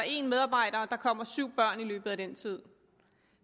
en medarbejder og der kommer syv børn i løbet af den tid